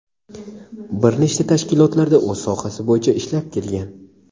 bir nechta tashkilotlarda o‘z sohasi bo‘yicha ishlab kelgan.